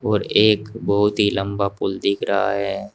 और एक बहुत ही लंबा पुल दिख रहा है।